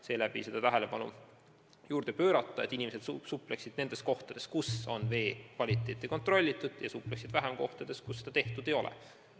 Soovitakse tähelepanu juhtida, et inimesed supleksid rohkem nendes kohtades, kus on vee kvaliteeti kontrollitud, ja supleksid vähem kohtades, kus seda tehtud ei ole.